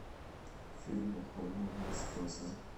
фильм у холмов есть глаза